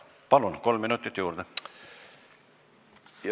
Palun, kolm minutit juurde!